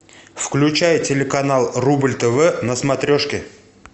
включай телеканал рубль тв на смотрежке